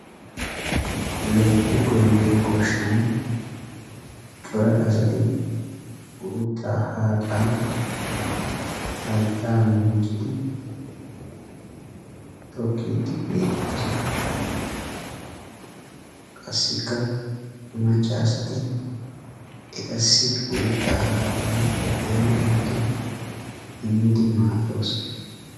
Loyitti goyyido goshshan cora asti uuttaa haaxaa hayittaa muucidi tokkiiddi beettoosona. Qassikka macca asati etassi uuttaa haaxaa ehi ehidi immidi maaddoosona.